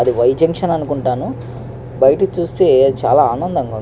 ఆది Y junction అనుకుంటాను బయట చూస్తే చాల ఆనందంగా ఉంది.